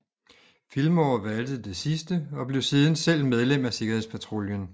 Fillmore valgte det sidste og blev siden selv medlem af sikkerhedspatruljen